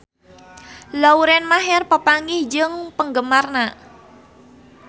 Lauren Maher papanggih jeung penggemarna